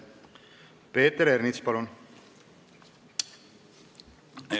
Peeter Ernits, palun!